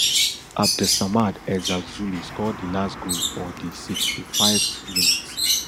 abdessamad ezzalzouli score di last goal for di sixty-fiveth minute